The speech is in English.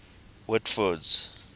whitford's